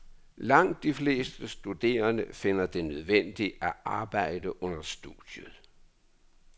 Langt de fleste studerende finder det nødvendigt at arbejde under studiet.